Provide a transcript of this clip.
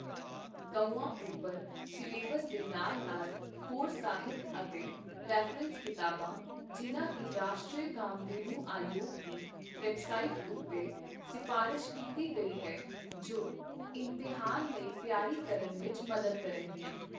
ਗਊਆਂ ਉੱਪਰ ਸਿਲੇਬਸ ਦੇ ਨਾਲ-ਨਾਲ ਹੋਰ ਸਾਹਿਤ ਅਤੇ ਰੈਫਰੈਂਸ ਕਿਤਾਬਾਂ, ਜਿਨ੍ਹਾਂ ਦੀ ਰਾਸ਼ਟਰੀ ਕਾਮਧੇਨੂ ਆਯੋਗ ਦੀ ਵੈਬਸਾਈਟ ਉੱਤੇ ਸਿਫਾਰਸ਼ ਕੀਤੀ ਗਈ ਹੈ, ਜੋ ਇਮਤਿਹਾਨ ਲਈ ਤਿਆਰੀ ਕਰਨ ਵਿਚ ਮਦਦ ਕਰਨਗੀਆਂ।